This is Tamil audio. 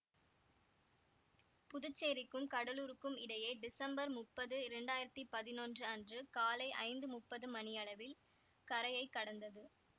புதுச்சேரிக்கும் கடலூருக்கும் இடையே டிசம்பர் முப்பது இரண்டாயிரத்தி பதினொன்று அன்று காலை ஐந்து முப்பது மணியளவில் கரையை கடந்தது